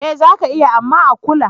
Eh zaka iya, amma a kula.